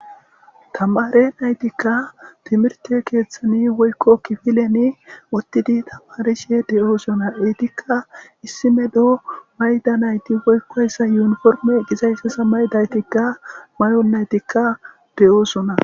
tamare naytikka timirte keeththani woykko kifilen wottidi tamarishe de7oosona eetikka issime do mayda nayti woykkoyssa yuuniforme qizayssesa maydaytikka may7on naytikka de7oosona